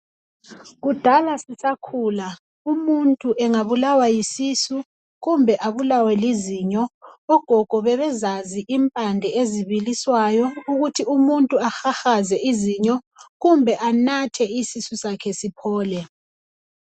Kudala sisakhula umuntu engabulawa yisisu kumbe abulawe lizinyo ogogo bebezazi impande ezibiliswayo ukuthi umuntu ahahaze izinyo kumbe anathe isisu sakhe siphole.